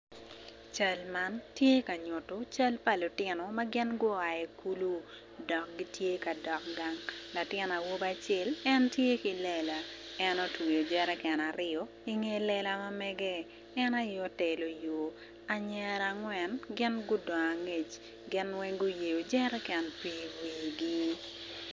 Cal man tye ka nyuto cal pa lutino ma gua ki i kulu gitye ka dok gang latin awobi acel tye ki lela en otweyo jerecan aryo i nge lela mamege en aye otelo yo anyira angwen gin gudong angec gin weng guyeyo jerecan pii i wigi.